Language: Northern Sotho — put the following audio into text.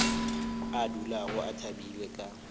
a dulago a thabile ka